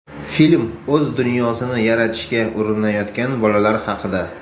Film o‘z dunyosini yaratishga urinayotgan bolalar haqida.